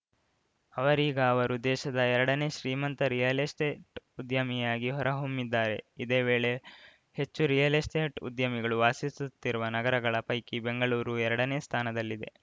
ಅವರೀಗ ಅವರು ದೇಶದ ಎರಡನೇ ಶ್ರೀಮಂತ ರಿಯಲ್‌ ಎಸ್ಟೇಟ್‌ ಉದ್ಯಮಿಯಾಗಿ ಹೊರಹೊಮ್ಮಿದ್ದಾರೆ ಇದೇ ವೇಳೆ ಹೆಚ್ಚು ರಿಯಲ್‌ ಎಸ್ಟೇಟ್‌ ಉದ್ಯಮಿಗಳು ವಾಸಿಸುತ್ತಿರುವ ನಗರಗಳ ಪೈಕಿ ಬೆಂಗಳೂರು ಎರಡನೇ ಸ್ಥಾನದಲ್ಲಿದೆ